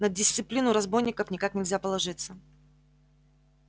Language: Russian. на дисциплину разбойников никак нельзя положиться